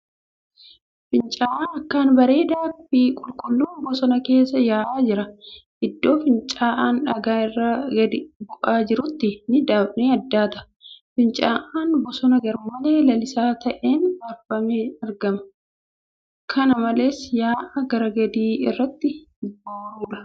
Fincaa'aa akkaan bareedaa fi qulqulluun bosona keessa yaa'aa jira. Iddoo fincaa'aan dhagaa irraa gadi bu'aa jirutti ni addaata. Fincaa'aan bosona garmalee lalisaa taa'een marfamee argama. Kana malees, yaa'a gara gadii irratti booruudha.